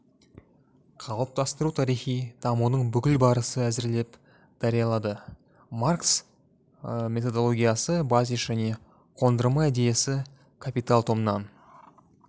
қалыптастыру тарихи дамудың бүкіл барысы әзірлеп даярлады маркс методологиясы базис және қондырма идеясы капитал томнан